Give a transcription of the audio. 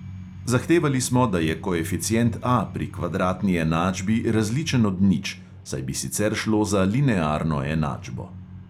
Zahtevali smo, da je koeficient A pri kvadratni enačbi različen od nič, saj bi sicer šlo za linearno enačbo.